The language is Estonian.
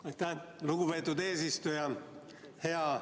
Aitäh, lugupeetud eesistuja!